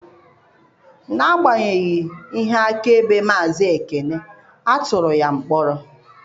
N'agbanyeghị ihe akaebe Maazị Ekene, a tụrụ ya mkpọrọ